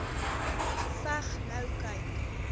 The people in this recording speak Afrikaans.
geveg nou kyk